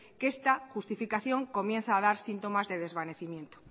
que esta justificación empieza a dar síntomas de desvanecimiento